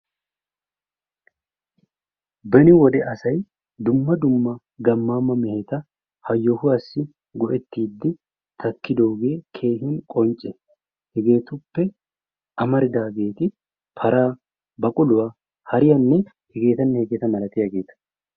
Beni wode asay dumma dumma gammaama meheta ha yohuwaassi go"ettidi takkidoogee keehin qoncce. Hegetuppe amaridaageti paraa, baquluwa, hariyanne hegeetanne hegeeta malatiyaageeta.